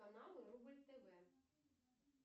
каналы рубль тв